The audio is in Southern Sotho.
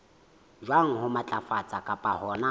jwang ho matlafatsa kapa hona